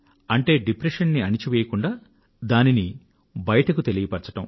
అంటే డిప్రెషన్ ను అణచివేయకుండా దానిని బయటకు తెలియపరచడం